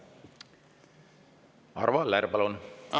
Arvo Aller, palun!